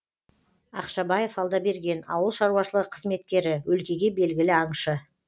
ақшабаев алдаберген ауыл шаруашылығы қызметкері өлкеге белгілі аңшы